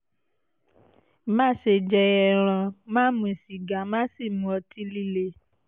má ṣe jẹ ẹran má mu sìgá má sì mu ọtí líle